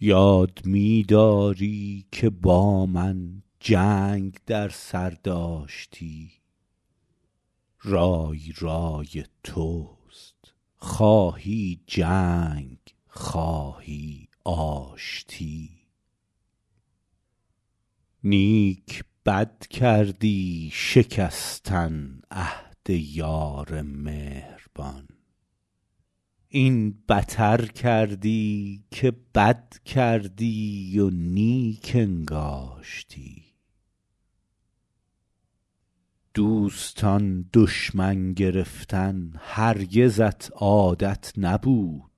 یاد می داری که با من جنگ در سر داشتی رای رای توست خواهی جنگ خواهی آشتی نیک بد کردی شکستن عهد یار مهربان این بتر کردی که بد کردی و نیک انگاشتی دوستان دشمن گرفتن هرگزت عادت نبود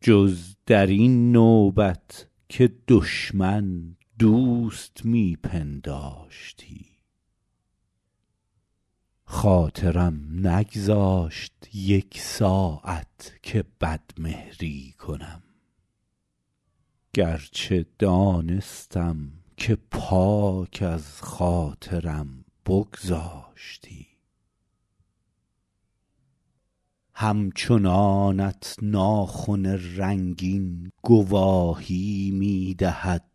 جز در این نوبت که دشمن دوست می پنداشتی خاطرم نگذاشت یک ساعت که بدمهری کنم گرچه دانستم که پاک از خاطرم بگذاشتی همچنانت ناخن رنگین گواهی می دهد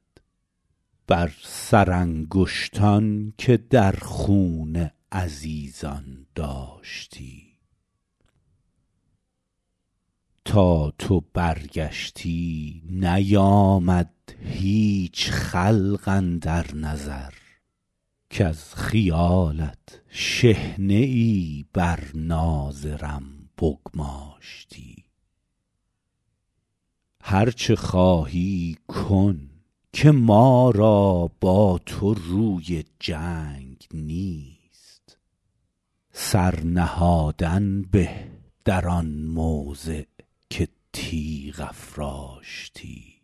بر سرانگشتان که در خون عزیزان داشتی تا تو برگشتی نیامد هیچ خلق اندر نظر کز خیالت شحنه ای بر ناظرم بگماشتی هر چه خواهی کن که ما را با تو روی جنگ نیست سر نهادن به در آن موضع که تیغ افراشتی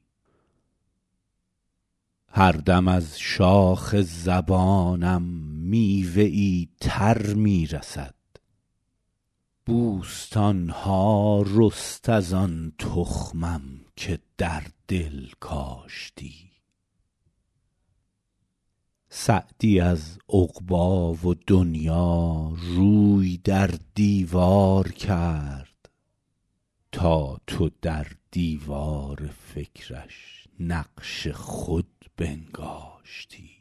هر دم از شاخ زبانم میوه ای تر می رسد بوستان ها رست از آن تخمم که در دل کاشتی سعدی از عقبی و دنیا روی در دیوار کرد تا تو در دیوار فکرش نقش خود بنگاشتی